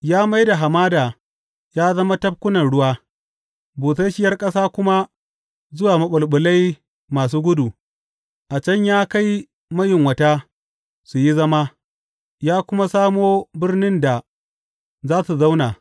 Ya mai da hamada ya zama tafkunan ruwa busasshiyar ƙasa kuma zuwa maɓulɓulai masu gudu; a can ya kai mayunwata su yi zama, ya kuma samo birnin da za su zauna.